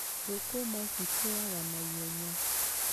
Thũkũma ci kũraga na ihenya.